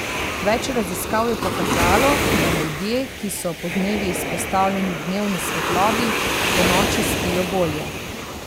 Več raziskav je pokazalo, da ljudje, ki so podnevi izpostavljeni dnevni svetlobi, ponoči spijo bolje.